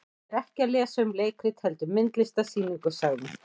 Ég er ekki að lesa um leikrit heldur myndlistarsýningu, sagði hún.